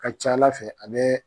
A ka ca Ala fɛ a bɛ